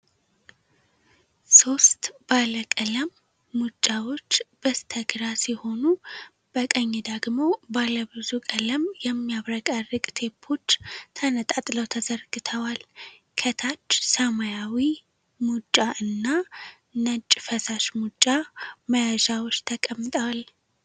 ሦስት ባለ ቀለም "FEVI STIK" ሙጫዎች በስተግራ ሲሆኑ፣ በቀኝ ደግሞ ባለብዙ ቀለም የሚያብረቀርቅ ቴፖች ተነጣጥለው ተዘርግተዋል። ከታች ሰማያዊ "KORES" ሙጫ እና ነጭ "FEVICOL MR" ፈሳሽ ሙጫ መያዣዎች ተቀምጠዋል።